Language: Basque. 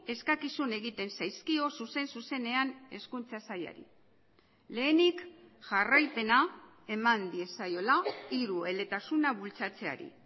eskakizun egiten zaizkio zuzen zuzenean hezkuntza sailari lehenik jarraipena eman diezaiola hirueletasuna bultzatzeari